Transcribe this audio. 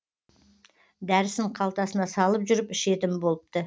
дәрісін қалтасына салып жүріп ішетін болыпты